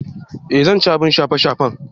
Eh zan ci abin kyafaffen.